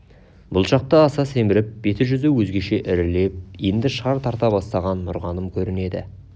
бұл шақта аса семіріп беті-жүзі өзгеше ірілеп енді шар тарта бастаған нұрғаным көрінеді